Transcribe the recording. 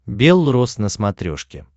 бел рос на смотрешке